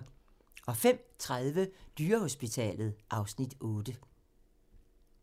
05:30: Dyrehospitalet (Afs. 8)